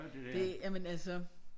Det jamen altså